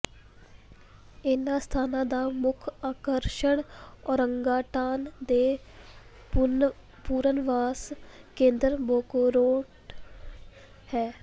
ਇਨ੍ਹਾਂ ਸਥਾਨਾਂ ਦਾ ਮੁੱਖ ਆਕਰਸ਼ਣ ਔਰੰਗਾਟਾਨ ਦੇ ਪੁਨਰਵਾਸ ਕੇਂਦਰ ਬੋਖੋਰੋਕ ਹੈ